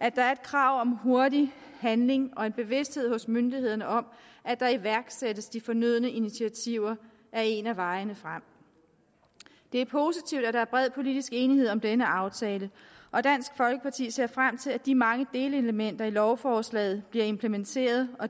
og at der er et krav om hurtig handling og bevidsthed hos myndighederne om at der iværksættes de fornødne initiativer er en af vejene frem det er positivt at der er bred politisk enighed om denne aftale og dansk folkeparti ser frem til at de mange delelementer i lovforslaget bliver implementeret og